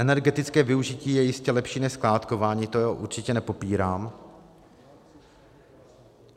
Energetické využití je jistě lepší než skládkování, to určitě nepopírám.